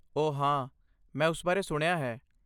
ਓਹ ਹਾਂ ਮੈਂ ਉਸ ਬਾਰੇ ਸੁਣਿਆ ਹੈ।